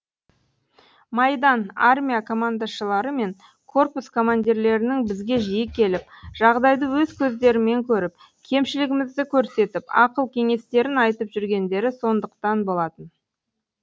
майдан армия командашылары мен корпус командирлерінің бізге жиі келіп жағдайды өз көздерімен көріп кемшілігімізді көрсетіп ақыл кеңестерін айтып жүргендері сондықтан болатын